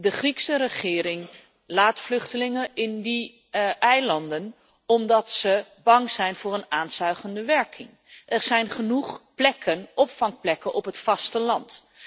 De Griekse regering laat vluchtelingen op die eilanden omdat ze bang is voor een aanzuigende werking. Er zijn genoeg opvangplekken op het vasteland.